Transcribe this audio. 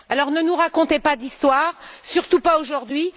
Ne nous racontez pas d'histoires, surtout pas aujourd'hui.